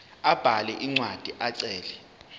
abhale incwadi ecela